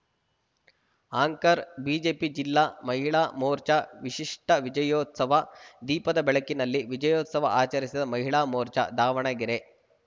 anchor BJP ಜಿಲ್ಲಾ ಮಹಿಳಾ ಮೋರ್ಚಾ ವಿಶಿಷ್ಟವಿಜಯೋತ್ಸವ ದೀಪದ ಬೆಳಕಿನಲ್ಲಿ ವಿಜಯೋತ್ಸವ ಆಚರಿಸಿದ ಮಹಿಳಾ ಮೋರ್ಚಾ ದಾವಣಗೆರೆ